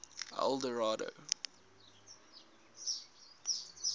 eldorado